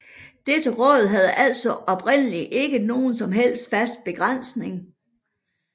Dette råd havde altså oprindelig ikke nogen som helst fast begrænsning